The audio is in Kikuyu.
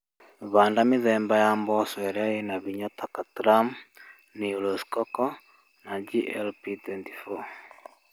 Handa mĩthemba ya mboco ĩrĩa ĩna hinya ta katram, new rosecoco na GLP24.